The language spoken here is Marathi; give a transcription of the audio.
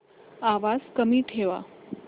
आवाज कमी ठेवा